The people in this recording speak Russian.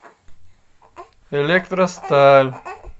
электросталь